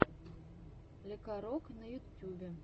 лекарок на ютюбе